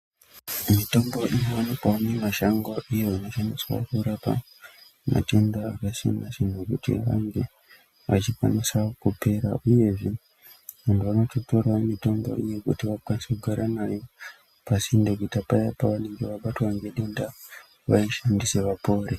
Mitombo inowanikwawo mumashango iyo inoshandiswa kurapa matenda akasiyana-siyana, kuti ange achikwanisa kupera uyezve vantu vanotora mitombo iyi kuti vakwanise kugara nayo pasinde kuitira paya pevanenge vabatwa ngedenda vaishandise vapore.